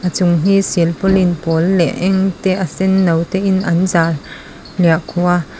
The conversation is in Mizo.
chung hi silpaulin pawl leh eng te a senno te in an zar hliahkhuh a.